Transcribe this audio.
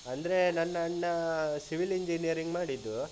ಅಂದ್ರೆ ನನ್ನಣ್ಣ civil engineering ಮಾಡಿದ್ದು